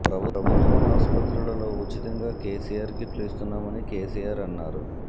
ప్రభుత్వం ఆసుపత్రుల్లో ఉచితంగా కేసీఆర్ కిట్లు ఇస్తున్నామని కేసీఆర్ అన్నారు